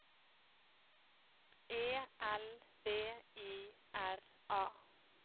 E L V I R A